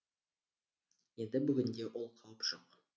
енді бүгінде ол қауіп жоқ